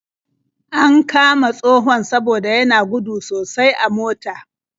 An kama tsohon saboda yana gudu sosai a mota.